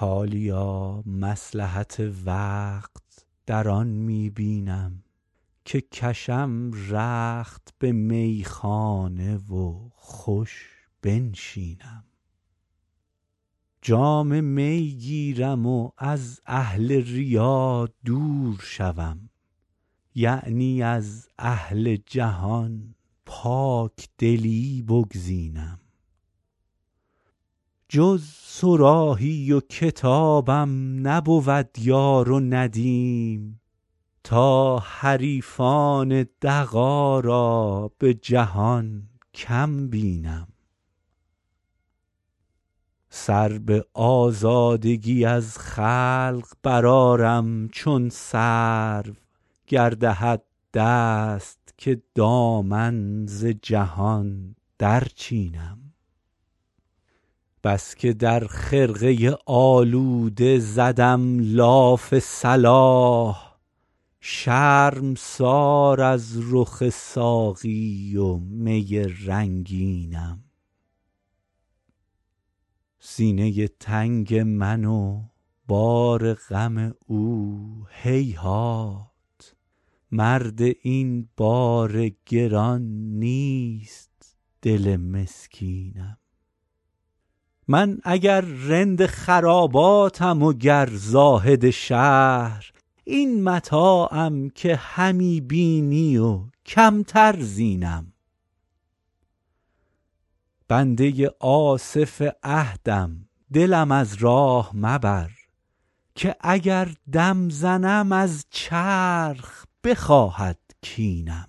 حالیا مصلحت وقت در آن می بینم که کشم رخت به میخانه و خوش بنشینم جام می گیرم و از اهل ریا دور شوم یعنی از اهل جهان پاکدلی بگزینم جز صراحی و کتابم نبود یار و ندیم تا حریفان دغا را به جهان کم بینم سر به آزادگی از خلق برآرم چون سرو گر دهد دست که دامن ز جهان درچینم بس که در خرقه آلوده زدم لاف صلاح شرمسار از رخ ساقی و می رنگینم سینه تنگ من و بار غم او هیهات مرد این بار گران نیست دل مسکینم من اگر رند خراباتم و گر زاهد شهر این متاعم که همی بینی و کمتر زینم بنده آصف عهدم دلم از راه مبر که اگر دم زنم از چرخ بخواهد کینم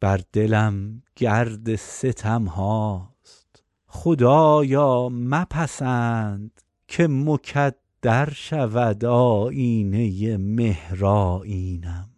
بر دلم گرد ستم هاست خدایا مپسند که مکدر شود آیینه مهرآیینم